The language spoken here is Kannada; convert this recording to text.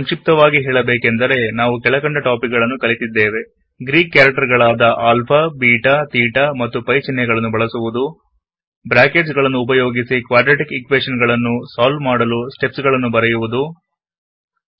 ಸಂಕ್ಷಿಪ್ತವಾಗಿ ಹೇಳಬೇಕೆಂದರೆ ನಾವು ಕೆಳಕಂಡ ಟಾಪಿಕ್ ಗಳನ್ನು ಕಲಿತಿದ್ದೇವೆ ಗ್ರೀಕ್ ಕ್ಯಾರೆಕ್ಟರ್ ಗಳಾದ ಆಲ್ಫಬೀಟ ತೇಟ ಮತ್ತು ಪೈ ಚಿಹ್ನೆಗಳನ್ನು ಬಳಸುವುದು ಬ್ರಾಕೆಟ್ಸ್ ರೈಟಿಂಗ್ ಸ್ಟೆಪ್ಸ್ ಗಳನ್ನು ಬಳಸಿ ಕ್ವಾಡ್ರಾಟಿಕ್ ಈಕ್ವೇಶನ್ ಗಳನ್ನು ಸಾಲ್ವ್ ಮಾಡುವುದು